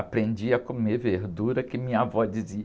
Aprendi a comer verdura, que minha avó dizia.